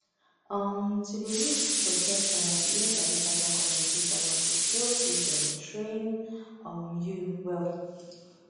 um to dey use protection and to even sabi partner communication na to show say dem train um you well